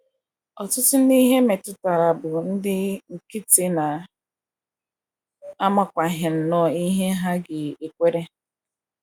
Ọtụtụ ndị ihe metụtara bụ ndị nkịtị na - amakwaghị nnọọ ihe ha ga - ekwere.